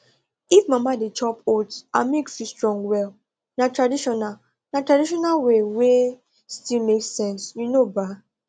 if mama dey chop oats her milk fit strong well na traditional na traditional way wey still make sense you know ba